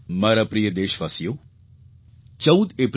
મારા પ્રિય દેશવાસીઓ 14 એપ્રિલે ડૉ